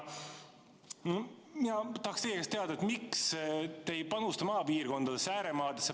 Ma tahan teilt teada, miks te ei panusta maapiirkondadesse, ääremaasse.